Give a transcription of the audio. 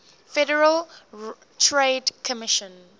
federal trade commission